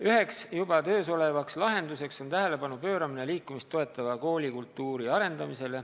Üks juba töös olev lahendus on tähelepanu pööramine liikumist toetava koolikultuuri arendamisele.